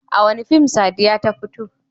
A wane fim Sadiya ta fito?